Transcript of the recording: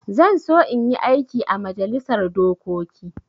Zan so in yi aiki ã majalisar dokoki.